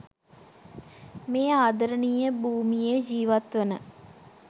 මේ ආදරණීය භූමියේ ජීවත්වන